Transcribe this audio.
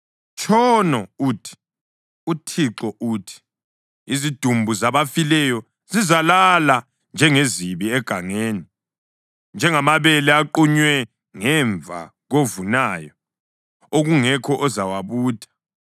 Tshono uthi, uThixo uthi, “ ‘izidumbu zabafileyo zizalala njengezibi egangeni, njengamabele aqunywe ngemva kovunayo, okungekho ozawabutha.’ ”